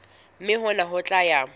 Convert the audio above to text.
mme hona ho tla ya